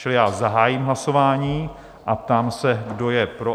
Čili já zahájím hlasování a ptám se, kdo je pro?